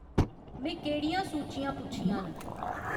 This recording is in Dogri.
में केह्ड़ियां सूचियां पुच्छियां न